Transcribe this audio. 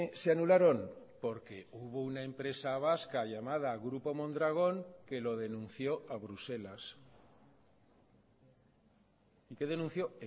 se anularon porque hubo una empresa vasca llamada grupo mondragón que lo denunció a bruselas y qué denunció